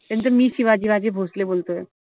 त्यानंतर मी शिवाजीराजे भोसले बोलतोय.